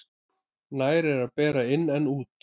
Nær er að bera inn en út.